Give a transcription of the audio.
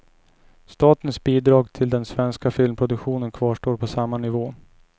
Statens bidrag till den svenska filmproduktionen kvarstår på samma nivå.